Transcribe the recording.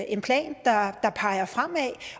en plan der peger fremad